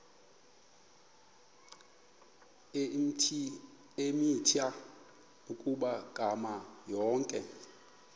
eemitha ukuphakama yonke